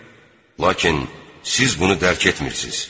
Lakin siz bunu dərk etmirsiniz.